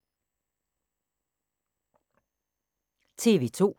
TV 2